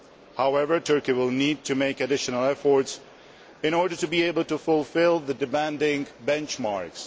However, Turkey will need to make additional efforts in order to be able to fulfil the demanding benchmarks.